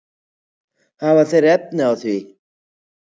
Hafa þeir efni á því?